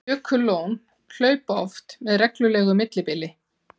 Jökullón hlaupa oft með reglulegu millibili.